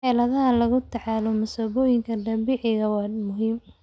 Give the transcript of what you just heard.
Xeeladaha lagula tacaalayo masiibooyinka dabiiciga ah waa muhiim.